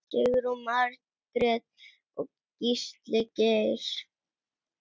Sigrún Margrét og Gísli Geir.